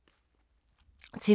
TV 2